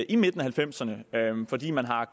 af nitten halvfemserne fordi man har